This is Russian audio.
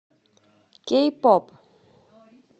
кей поп